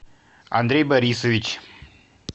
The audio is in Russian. андрей борисович